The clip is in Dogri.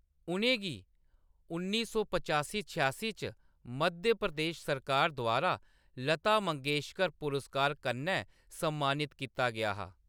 उʼनें गी उन्नी सौ पचासी छेआसी च मध्य प्रदेश सरकार द्वारा लता मंगेशकर पुरस्कार कन्नै सम्मानत कीता गेआ हा।